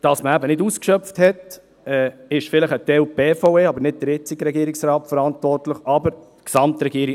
Dass man nicht ausgeschöpft hat, dafür ist vielleicht teilweise die BVE, aber nicht der jetzige Regierungsrat verantwortlich, sondern natürlich die Gesamtregierung.